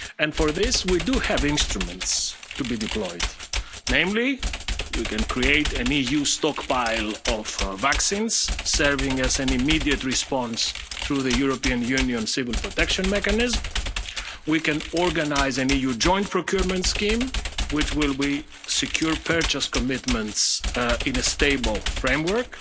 supplies. For this, we do have instruments to be deployed, namely we can create an EU stockpile of vaccines, serving as an immediate response through the European Union Civil Protection Mechanism, we can organise an EU joint procurement scheme, which will be secure purchase commitments in a stable